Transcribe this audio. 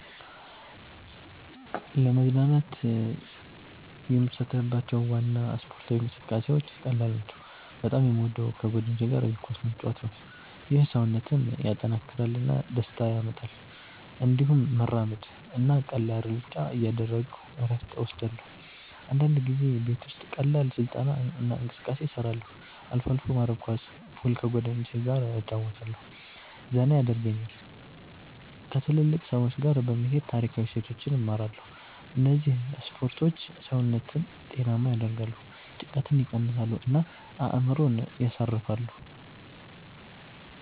ለመዝናናት የምሳተፍባቸው ዋና ስፖርታዊ እንቅስቃሴዎች ቀላል ናቸው። በጣም የምወደው ከጓደኞች ጋር እግር ኳስ መጫወት ነው። ይህ ሰውነትን ያጠናክራል እና ደስታ ያመጣል። እንዲሁም መራመድ (walking) እና ቀላል ሩጫ እያደረግሁ እረፍት እወስዳለሁ። አንዳንድ ጊዜ ቤት ውስጥ ቀላል ስልጠና እና እንቅስቃሴ እሰራለሁ። አልፎ አልፎ መረብ ኳስ፣ ፑል ከጓደኞቸ ገ እጨረወታለሁ ዘና የደርጉኛል። ከትልልቅ ሰዎች ጋ በመሄድ ታሪካዊ እሴቶችን እማራለሁ እነዚህ ስፖርቶች ሰውነትን ጤናማ ያደርጋሉ፣ ጭንቀትን ይቀንሳሉ እና አእምሮን ያሳርፋሉ።